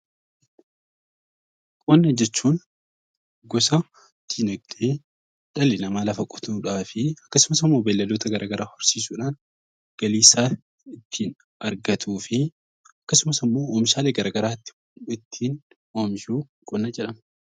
Qoona jechuun gosa dinagdee dhalli namaa lafa qotuudhaa fi akkasumas beelladoota gara garaa horsiisuu dhaan galii isaa ittiin argatuu fi akkasumas immoo oomishaalee gara garaa ittiin oomishu 'Qonna' jedhama.